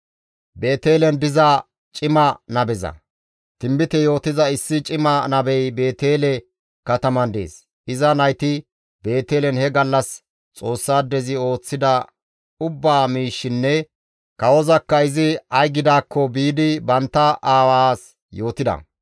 Tinbite yootiza issi cima nabey Beetele kataman dees; iza nayti Beetelen he gallas Xoossaadezi ooththida ubba miishshinne kawozakka izi ay gidaakko biidi bantta aawaas yootida.